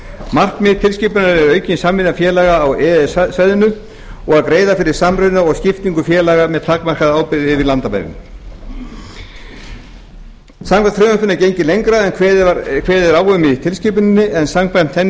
markmið tilskipunarinnar er aukin samvinna félaga á e e s svæðinu og greiða fyrir samruna og skiptingu félaga með takmarkaða ábyrgð yfir landamærin samkvæmt frumvarpinu er gengið lengra en kveðið er á um í tilskipuninni en samkvæmt henni